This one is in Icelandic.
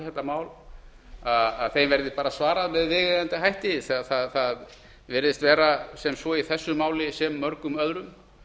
þetta mál þeim verði svarað með viðeigandi hætti þegar það virðist vera svo í þessu máli sem mörgum öðrum